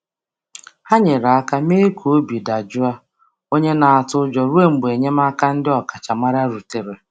Ha nyere aka mee ka onye nwere ụjọ dị jụụ ruo mgbe enyemaka ọkachamara bịara.